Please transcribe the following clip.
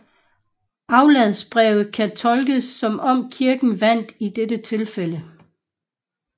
Afladsbrevet kan tolkes som om Kirken vandt i dette tilfælde